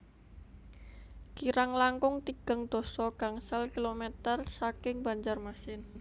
Kirang langkung tigang dasa gangsal kilometer saking Banjarmasin